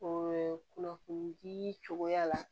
kunnafoni dii cogoya la